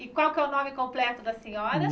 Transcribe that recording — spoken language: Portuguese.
E qual que é o nome completo da senhora?